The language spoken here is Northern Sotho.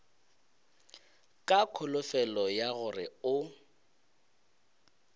ka kholofelo ya gore o